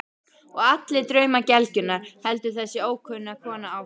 Og allir draumar gelgjunnar, heldur þessi ókunna kona áfram.